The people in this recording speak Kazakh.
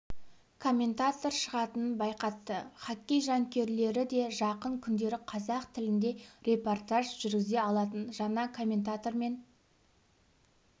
комментатор шығатынын байқатты хоккей жанкүйерлері де жақын күндері қазақ тілінде репортаж жүргізе алатын жаңа комментатормен